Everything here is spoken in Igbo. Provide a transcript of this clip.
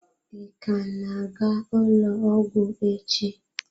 Ị ka na-aga ụlọ ọgwụ echi?